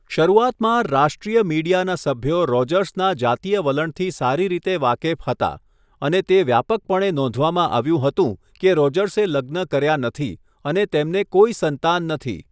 શરૂઆતમાં, રાષ્ટ્રીય મીડિયાના સભ્યો રોજર્સના જાતીય વલણથી સારી રીતે વાકેફ હતા, અને તે વ્યાપકપણે નોંધવામાં આવ્યું હતું કે રોજર્સે લગ્ન કર્યા નથી અને તેમને કોઈ સંતાન નથી.